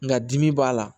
Nka dimi b'a la